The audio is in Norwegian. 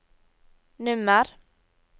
nummer